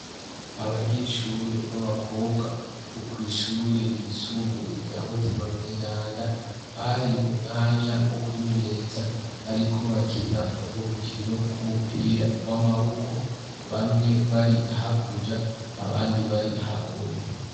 Abanyeshure b'abakobwa bo kw'ishure ryisumbuye rya "mutima mweranda" bari mu mwanya wo kwimenyereza bariko bakina urwo rukino rw'umupira w'amaboko. Bamwe bari hakurya abandi bari hakuno.